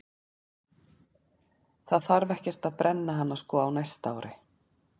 Það þarf ekkert að brenna hana sko á næsta ári.